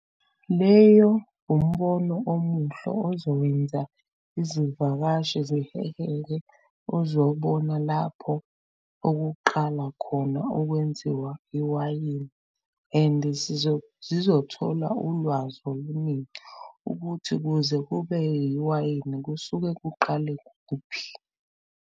Leyo umbono omuhle ozowenza izivakashi ziheheke ozobona lapho okuqala khona ukwenziwa iwayini, and zizothola ulwazi oluningi ukuthi kuze kube yiwayini kusuke kuqale kuphi.